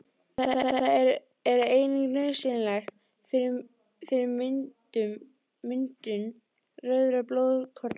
Það er einnig nauðsynlegt fyrir myndun rauðra blóðkorna.